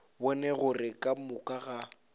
bone gore ka moka ga